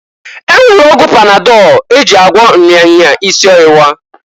E nwere ọgwụ panadọl e ji agwọ nya nya isi owuwa.